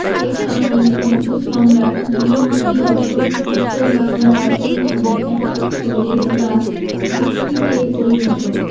এ সময় মৌর্য সম্রাট মহামতি অশোক উত্তর বাংলা দখল করে একটি প্রদেশ বা ভুক্তিতে পরিণত